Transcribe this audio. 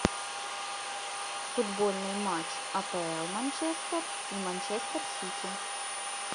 футбольный матч апл манчестер и манчестер сити